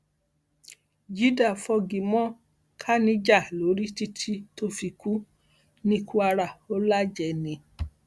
jidah fogi mọ khanija lórí títí tó fi kú ní kwara ò lájẹẹ ni